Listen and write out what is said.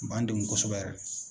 O b'an degun kosɛbɛ yɛrɛ de.